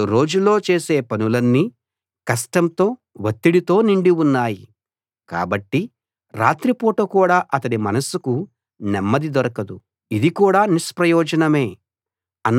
అతడు రోజులో చేసే పనులన్నీ కష్టంతో వత్తిడితో నిండి ఉన్నాయి కాబట్టి రాత్రి పూట కూడా అతడి మనస్సుకు నెమ్మది దొరకదు ఇది కూడా నిష్ప్రయోజనమే